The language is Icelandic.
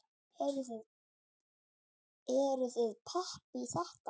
Eruð þið pepp í þetta?